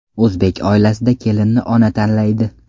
O‘zbek oilasida kelinni ona tanlaydi.